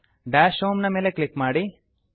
dash home ನ ಮೇಲೆ click ಮಾಡಿ